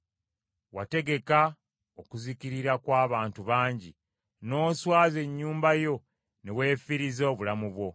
Wategeka okuzikirira kw’abantu bangi, n’oswaza ennyumba yo ne weefiiriza obulamu bwo.